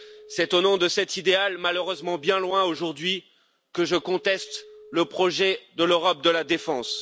C'est au nom de cet idéal, malheureusement bien loin aujourd'hui, que je conteste le projet de l'Europe de la défense.